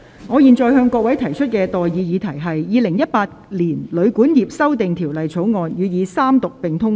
我現在向各位提出的待議議題是：《2018年旅館業條例草案》予以三讀並通過。